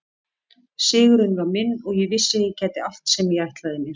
Sigurinn var minn og ég vissi að ég gæti allt sem ég ætlaði mér.